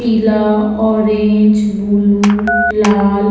पिला orange blue लाल --